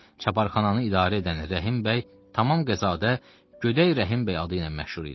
Çaparxananı idarə edən Rəhim bəy Tamamqəzadə Göçək Rəhim bəy adı ilə məşhur idi.